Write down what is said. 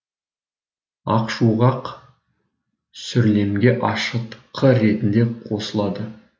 ақшуғақ сүрлемге ашытқы ретінде қосылады